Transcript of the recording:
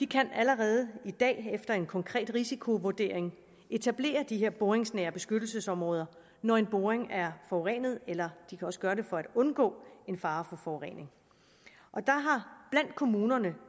kan allerede i dag efter en konkret risikovurdering etablere de her boringsnære beskyttelsesområder når en boring er forurenet eller de kan også gøre det for at undgå en fare for forurening blandt kommunerne